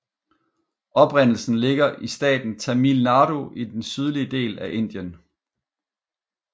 Oprindelsen ligger i staten Tamil Nadu i den sydlige del af Indien